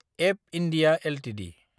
एब India Ltd